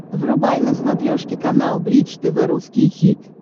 врубай на смотрешке канал бридж тв русский хит